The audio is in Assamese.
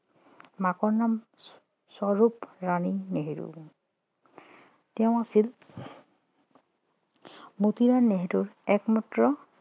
মাকৰ নাম স্বৰূপ ৰাণী নেহেৰু তেওঁ আছিল মতিলাল নেহেৰুৰ একমাত্ৰ